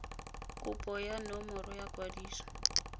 kopo ya nomoro ya kwadiso